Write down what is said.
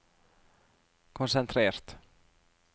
konsentrert